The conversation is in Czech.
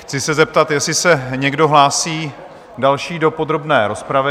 Chci se zeptat, jestli se někdo další hlásí do podrobné rozpravy?